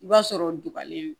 I b'a sɔrɔ duguni